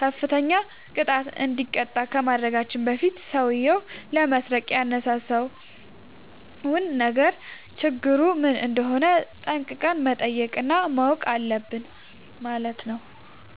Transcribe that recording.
ከፍተኛ ቅጣት እንዲቀጣ ከማድረጋችን በፊት ሠውዬው ለመስረቅ ያነሳሳውን ነገር ችግሩ ምን እንደሆነ ጠንቅቀን መጠየቅ እና ማወቅ አለብን ማለት ነው።